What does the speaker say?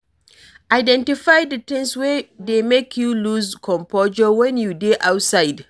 Identify di things wey dey make you loose composure when you dey outside